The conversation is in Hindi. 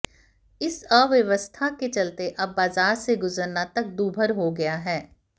इस अव्यवस्था के चलते अब बाजार में से गुजरना तक दूभर हो गया है